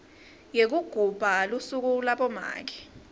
yekugubha lusuku labomake